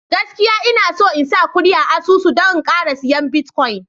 gaskiya Ina son in sa kudi a asusu don in Kara siya "Bitcoin "